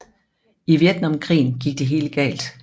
I Vietnamkrigen gik det helt galt